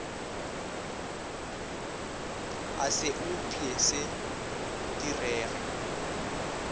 a se upše se direge